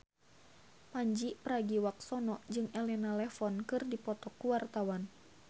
Pandji Pragiwaksono jeung Elena Levon keur dipoto ku wartawan